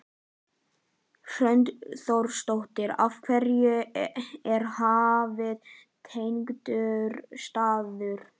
Hrund Þórsdóttir: Af hverju er Hafið hentugur staður?